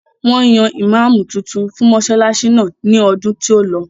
Wọ́n yan ìmáàmù tuntun fún mọsálásí náà ní ọdún tí ó lọ.